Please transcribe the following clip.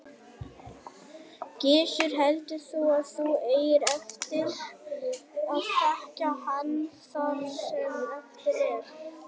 Gissur: Heldur þú að þú eigir eftir að þekkja hann það sem eftir er?